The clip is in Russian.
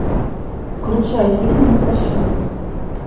включай фильм непрощенный